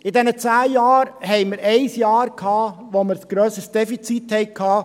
In diesen zehn Jahren gab es ein Jahr, in dem wir ein grösseres Defizit hatten.